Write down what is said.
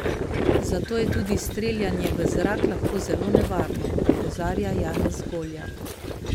Zato je tudi streljanje v zrak lahko zelo nevarno, opozarja Janez Golja.